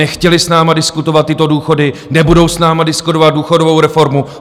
Nechtěli s námi diskutovat tyto důchody, nebudou s námi diskutovat důchodovou reformu.